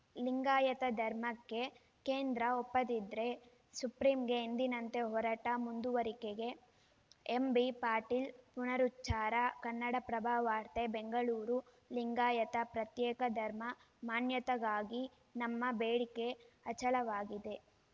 ಲಿಂಗಾಯತ ಧರ್ಮಕ್ಕೆ ಕೇಂದ್ರ ಒಪ್ಪದಿದ್ರೆ ಸುಪ್ರೀಂಗೆ ಎಂದಿನಂತೆ ಹೋರಾಟ ಮುಂದುವರಿಕೆಗೆ ಎಂಬಿ ಪಾಟೀಲ ಪುನರುಚ್ಚಾರ ಕನ್ನಡಪ್ರಭ ವಾರ್ತೆ ಬೆಂಗಳೂರು ಲಿಂಗಾಯತ ಪ್ರತ್ಯೇಕ ಧರ್ಮ ಮಾನ್ಯತೆಗಾಗಿ ನಮ್ಮ ಬೇಡಿಕೆ ಅಚಲವಾಗಿದೆ